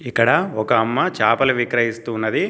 ఇక్కడ ఒక అమ్మ చాపల విక్రయిస్తూ ఉన్నది.